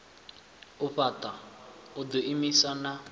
u fhaṱa u ḓiimisa na